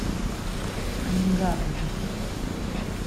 анингаак запусти